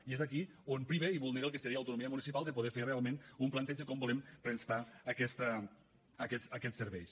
i és aquí on priva i vulnera el que seria l’autonomia municipal de poder fer realment un planteig de com volem prestar aquests serveis